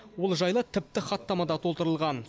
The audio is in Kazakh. ол жайлы тіпті хаттама да толтырылған